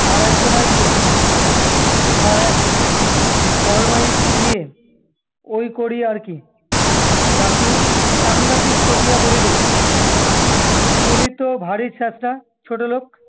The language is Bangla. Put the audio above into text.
আর একজন আসবেন, আর এক ফরমাইস নিয়ে- ঐ করি আর কি! দাশু সাংঘাতিক চটিয়া বলিল, তুমি তো ভারি ছ্যাঁচড়া, ছোটলোক।